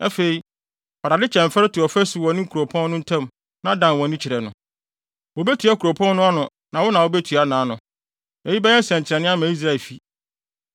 Afei, fa dade kyɛmfɛre to ɔfasu wɔ wo ne kuropɔn no ntam na dan wʼani kyerɛ no. Wobetua kuropɔn no ano na wo na wubetua nʼano. Eyi bɛyɛ nsɛnkyerɛnne ama Israelfi.